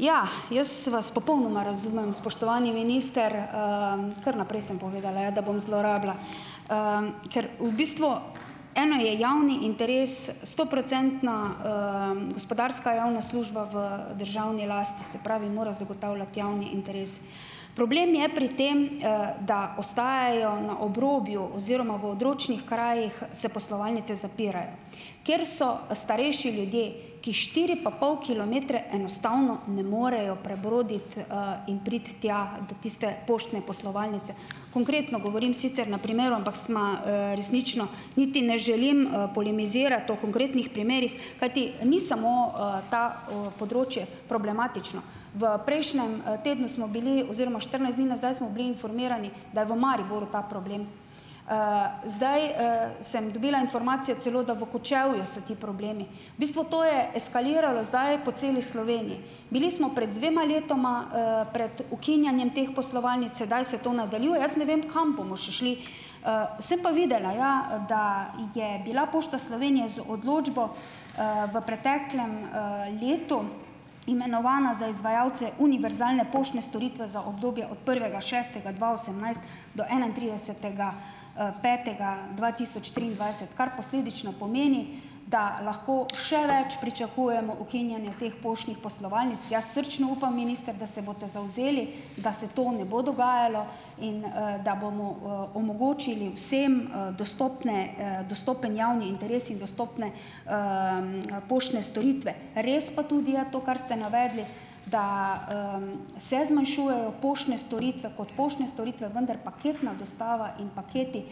Ja, jaz vas popolnoma razumem, spoštovani minister, ker naprej sem povedala, ja, da bom zlorabila, ker v bistvu eno je javni interes, stoprocentna, gospodarska javna služba v državni lasti, se pravi, mora zagotavljati javni interes. Problem je pri tem, da ostajajo na obrobju, oziroma v odročnih krajih, se poslovalnice zapirajo. Ker so starejši ljudje, ki štiri pa pol kilometre enostavno ne morejo prebroditi, in priti tja do tiste poštne poslovalnice. Konkretno govorim sicer na primeru, ampak sva, resnično, niti ne želim, polemizirati o konkretnih primerih, kajti ni samo, ta, področje problematično. V prejšnjem tednu smo bili oziroma štirinajst dni nazaj smo bili informirani, da v Mariboru ta problem. Zdaj, sem dobila informacijo celo, da v Kočevju so ti problemi. V bistvu to je eskaliralo zdaj po celi Bili smo pred dvema letoma, pred ukinjanjem teh poslovalnic, sedaj se to nadaljuje - jaz ne vem, kam bomo še šli. Sem pa videla ja, da je bila Pošta Slovenije z odločbo, v preteklem, letu imenovana za izvajalce univerzalne poštne storitve za obdobje od prvega šestega dva osemnajst do enaintridesetega, petega dva tisoč triindvajset, kar posledično pomeni, da lahko še več pričakujemo ukinjanja teh poštnih poslovalnic. Jaz srčno upam, minister, da se boste zavzeli, da se to ne bo dogajalo in, da bomo, omogočili vsem, dostopne, dostopen javni interes in dostopne, poštne storitve. Res pa tudi je, to, kar ste navedli, da, se zmanjšujejo poštne storitve kot poštne storitve, vendar paketna dostava in paketi,